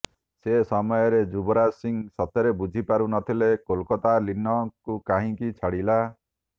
ସେ ସମୟରେ ଯୁବରାଜ ସିଂ ସତରେ ବୁଝି ପାରୁ ନଥିଲେ କୋଲକାତା ଲୀନ ଙ୍କୁ କାହିଁକି ଛାଡିଲା